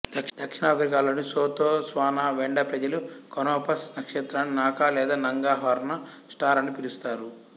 దక్షిణాఫ్రికాలోని Sotho Tswana Venda ప్రజలు Canopus నక్షత్రాన్ని నాకా లేదా నంగ హార్న్ స్టార్ అని పిలుస్తారు